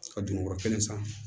Ka dumuni yɔrɔ kelen san